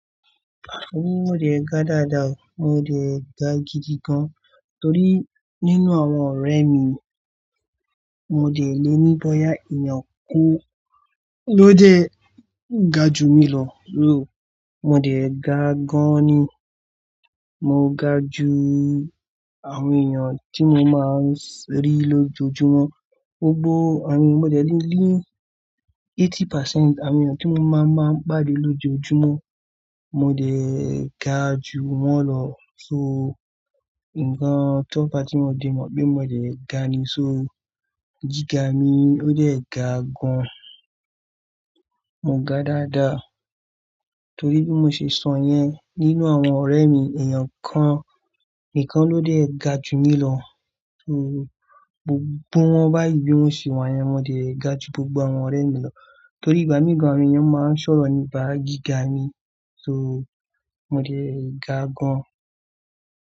Mo dẹ̀ ga dáadáa, mo dẹ̀ ga gidi gan. Torí nínú àwọn ọ̀rẹ́ mi, mo dẹ̀ lè ní bóyá èèyàn kan ló dé ga ju mi lọ. Mo dẹ̀ ga gan ni. Mo ga ju àwọn èèyàn tí mo máa ń rí lójoojúmọ́. Mo gbọ àwọn-- mo dẹ̀ lè ní eighty percent àwọn èèyàn tí mo máa ń, máa ń pàdé lójoojúmọ́, mo dẹ̀ ga ju wọ́n lọ. So, ǹkan tó fá ti mo dẹ̀ mọ̀ pé mo dẹ̀ ga ni. So gíga mi ó dẹ̀ ga gan. Mo ga dáadáa. Torí bí mo ṣe sọ yẹn, nínú àwọn ọ̀rẹ́ mi èèyàn kan nìkan ló dẹ̀ ga ju mi lọ. So gbogbo wọn báyìí bí wọ́n ṣe wà yẹn, mo dẹ̀ ga ju gbogbo àwọn ọ̀rẹ́ mi lọ. Torí ìgbà míì gan àwọn èèyàn máa ń sọ̀rọ̀ nípa gíga mi, so mo dẹ̀ ga gan.